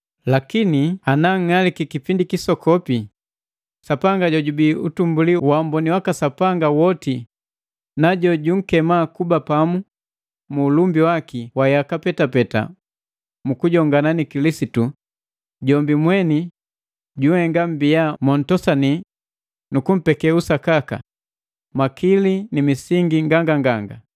Lakini ananng'aliki kipindi kisokopi, Sapanga jojubii utumbuli wa uamboni waka Sapanga woti na jo junkema kuba pamu mu ulumbi waki wa yaka petapeta mu kujongana ni Kilisitu, jombi mweni janhenga mmbia mo ntosani nu kumpeke usakaka, makili ni misingi nganganganga.